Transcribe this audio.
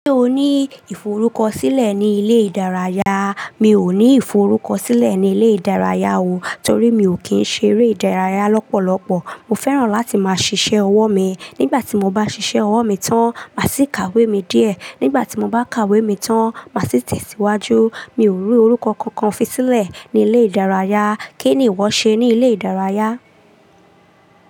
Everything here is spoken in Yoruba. Ṣé o ní ìforúkọ̀sílẹ̀ ni ilé ìdárayá? Mi ò ní ìforúkọ̀sílẹ̀ ní ilé ìdárayá o, torí mi ò kí ń ṣeré ìdárayá lọ́pọ̀lọ́pọ̀. Mo fẹ́ràn láti máa ṣiṣẹ́ ọwọ́ mi. Nígbà tí mo bá ṣiṣẹ́ ọwọ́ mi tán, màá sì ka ìwé mi díẹ̀. Nígbà tí mo bá ka ìwé mi tán, màá sì tẹ̀síwájú. Mi ò rí orúkọ kankan fi sílẹ̀ ní ilé ìdárayá. Kí ni ìwọ ṣe ní ilé ìdárayá?